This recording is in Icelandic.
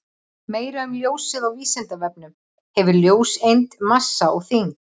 Meira um ljósið á Vísindavefnum: Hefur ljóseind massa og þyngd?